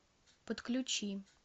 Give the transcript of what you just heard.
подключи